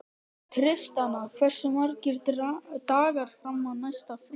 Tristana, hversu margir dagar fram að næsta fríi?